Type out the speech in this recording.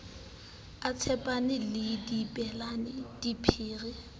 a tshepana le abelana diphiri